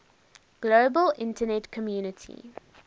global internet community